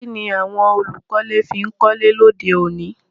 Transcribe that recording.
Kíni àwon olùkọ́lé fi n kọ́lé lóde òní